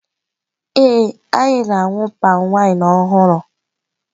Ee, anyị na-aṅụ palmwine ọhụrụ.